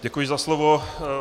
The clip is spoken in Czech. Děkuji za slovo.